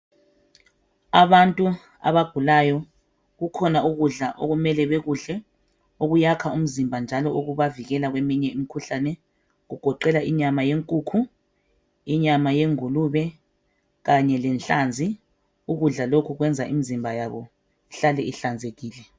Abantu abagulayo kukhona ukudla okumele bekudle okuyakha umzimba njalo okubavikela kwesinye imikhuhlane okugogela inyama yenkukhu inyama yengulube Kanye lenhlanzi ukudla lokhu kwenza imizimba yabo ihlale ihlanzekile